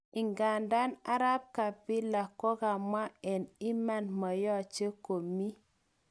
ingandan Arap Kapila kokamwa eng iman moyoche komi